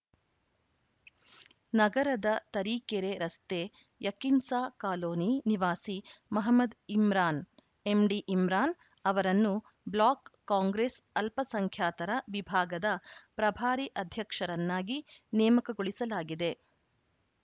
ನಗರದ ತರೀಕೆರೆ ರಸ್ತೆ ಯಕಿನ್ಸಾ ಕಾಲೋನಿ ನಿವಾಸಿ ಮಹಮದ್‌ ಇಮ್ರಾನ್‌ ಎಂಡಿ ಇಮ್ರಾನ್‌ ಅವರನ್ನು ಬ್ಲಾಕ್‌ ಕಾಂಗ್ರೆಸ್‌ ಅಲ್ಪಸಂಖ್ಯಾತರ ವಿಭಾಗದ ಪ್ರಭಾರಿ ಅಧ್ಯಕ್ಷರನ್ನಾಗಿ ನೇಮಕಗೊಳಿಸಲಾಗಿದೆ